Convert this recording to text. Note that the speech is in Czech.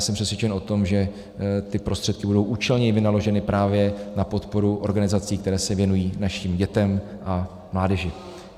Jsem přesvědčen o tom, že ty prostředky budou účelně vynaloženy právě na podporu organizací, které se věnují našim dětem a mládeži.